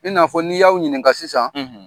I n'a fɔ n'i y'aw ɲininka sisan